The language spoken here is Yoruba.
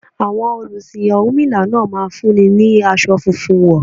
Àwọn olùsìn ọ̀rúnmìlà náà máa fún mi ní aṣọ funfun wọn.